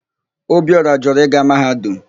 Ọbiora jụrụ ịga Mahadum.